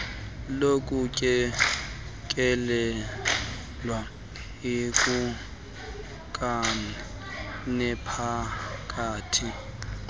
lokutyelelwa yikumkani nephakathi